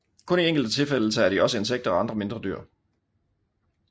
Kun i enkelte tilfælde tager de også insekter og andre mindre dyr